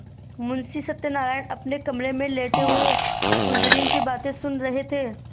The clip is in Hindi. मुंशी सत्यनारायण अपने कमरे में लेटे हुए कुंजड़िन की बातें सुन रहे थे